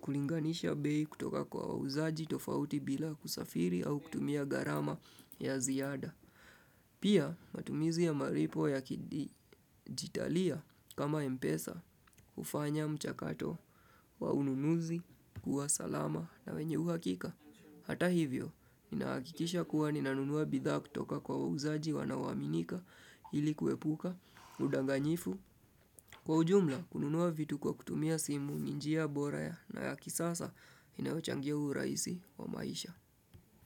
kulinganisha bei kutoka kwa wauzaji tofauti bila kusafiri au kutumia gharama ya ziada. Pia matumizi ya malipo ya kidijitalia kama mpesa hufanya mchakato wa ununuzi kuwa salama na wenye uhakika. Hata hivyo, inahakikisha kuwa ninanunua bidhaa kutoka kwa wauzaji wanaoaminika ili kuepuka, udanganyifu Kwa ujumla, kununua vitu kwa kutumia simu ni njia bora na ya kisasa inayochangia urahisi wa maisha.